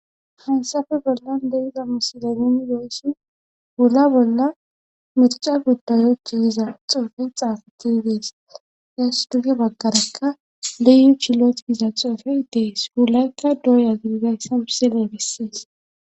hansafe bolla leiza musilemini goyssi hula bolla mirica guddayo ciiyiza xoofe xaafati yidees yaas duge baggarekka leyu chilot giza xoofe dees huulaykka dooyagingayssa birsele bissees